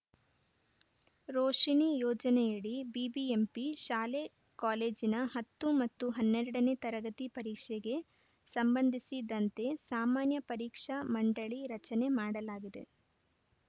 ರೋಶಿಣಿ ಯೋಜನೆಯಡಿ ಬಿಬಿಎಂಪಿ ಶಾಲೆ ಕಾಲೇಜಿನ ಹತ್ತು ಮತ್ತು ಹನ್ನೆರಡ ನೇ ತರಗತಿ ಪರೀಕ್ಷೆಗೆ ಸಂಬಂಧಿಸಿದಂತೆ ಸಾಮಾನ್ಯ ಪರೀಕ್ಷಾ ಮಂಡಳಿ ರಚನೆ ಮಾಡಲಾಗಿದೆ